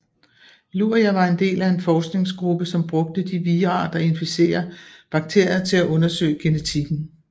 Luria var en del af en forskningsgruppe som brugte de vira der inficerer bakterier til at undersøge genetikken